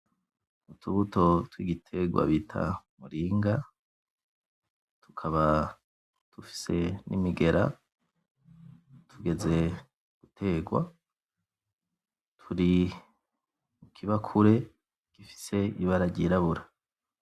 Utubuto twigitegwa bita muringa tukaba tufise nimigera tugeze gutegwa turi mukibakure gifise ibara ryirabura